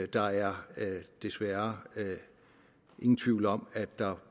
der er desværre ingen tvivl om at der